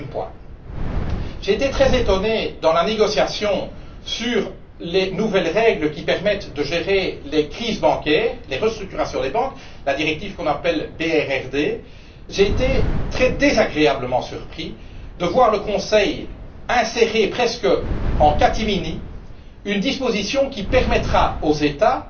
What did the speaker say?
Deuxième point, dans la négociation sur les nouvelles règles qui permettent de gérer les crises bancaires, les restructurations des banques la directive que l'on appelle BRRD j'ai été très désagréablement surpris de voir le Conseil insérer, presque en catimini, une disposition qui permettra aux États